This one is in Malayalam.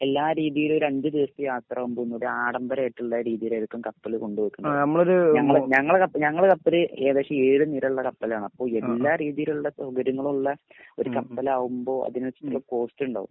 എല്ലാ രീതിയിലും രണ്ടു ദിവസത്തെ യാത്ര ആഢംബരമായിട്ടുള്ള രീതിയിലായിരിക്കും കപ്പല് കൊണ്ടുവെക്കുന്നതു. ഞങളെ ഞങ്ങളെ കപ്പല് ഏകദേശം ഏഴുനിരയുള്ളകപ്പലായിരുന്നു. അപ്പൊ എല്ലാ രീതിയിലുമുള്ളസൗകര്യങ്ങള്മുള്ള ഒരു കപ്പലാവുമ്പോൾ അതിനനുസരിച്ചുള്ള കോസ്റ്റും ഉണ്ടാവു.